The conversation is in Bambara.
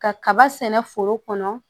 Ka kaba sɛnɛ foro kɔnɔ